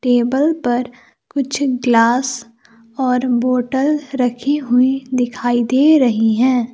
Table पर कुछ glass और बोटल रखी हुई दिखाई दे रही है।